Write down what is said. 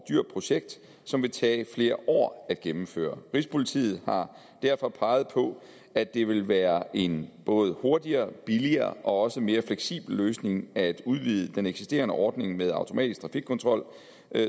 dyrt projekt som ville tage flere år at gennemføre rigspolitiet har derfor peget på at det ville være en både hurtigere og billigere og også en mere fleksibel løsning at udvide den eksisterende ordning med automatisk trafikkontrol